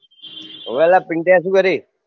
ઓવે લા પીન્ટયા શું કરી